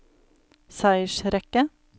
seiersrekke